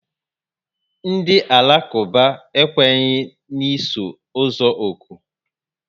Ndị Alakuba ekwenyi n'isu ozu oku